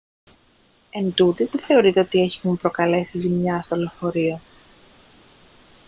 εντούτοις δεν θεωρείται ότι έχουν προκαλέσει ζημιά στο λεωφορείο